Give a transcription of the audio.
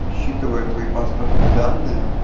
расчитываю твои паспортные данные